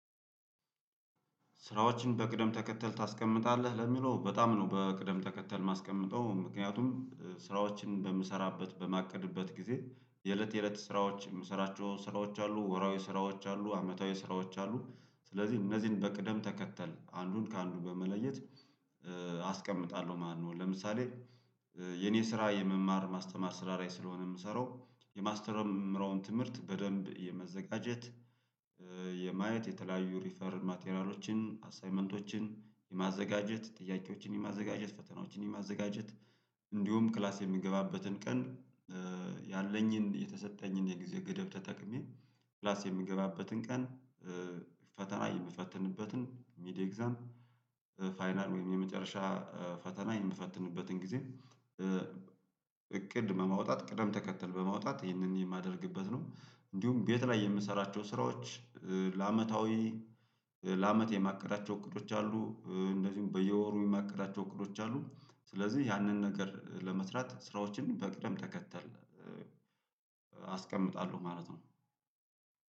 ስራዎችን በቅደም ተከተል ታስቀምጣለህ ለሚለው በጣም ነው በቅደም ተከተል ማስቀመጥው ምክንያቱም ስራዎችን በምሰራበት በማቀድበት ጊዜ የእለት የእለት ስራዎች የምሰራቸው ስራዎች አሉ ወርሃዊ ስራዎች አሉ አመታዊ ስራዎች አሉ ስለዚህ እነዚህን በቅደም ተከተል አንዱን ከአንዱ በመለየት አስቀምጣለሁ ማለት ነው ለምሳሌ የኔ ስራ የመማር ማስተማር ስራ ላይ ስለሆነ የምሰራው የማስተምራውን ትምህርት በደንብ የመዘጋጀት የማየት የተለያዩ ሪፈር ማቴራሎችን አሳይመንቶችን የማዘጋጀት ጥያቄዎችን የማዘጋጀት ፈተናዎችን የማዘጋጀት እንዲሁም ክላስ የምገባበትን ቀን ያለኝን የተሰጠኝን የጊዜ ገደብ ተጠቅሜ ክላስ የምገባበትን ቀን ፈተና የምፈትንበትን ሚድ ኤግዛም ፋይናል ወይም የመጨረሻ ፈተና የምፈትንበትን ጊዜ እቅድ በማውጣት ቅደም ተከተል በማውጣት ይህንን የማደርግበት ነው። እንዲሁም ቤት ላይ የምሰራቸው ስራዎች ለአመታዊ ለአመት የማቀዳቸው እቅዶች አሉ እንደዚሁም በየወሩ የማቀዳቸው እቅዶች አሉ ስለዚህ ያንን ነገር ለመስራት ስራዎችን በቅደም ተከተል አስቀምጣለሁ ማለት ነው